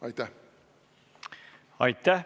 Aitäh!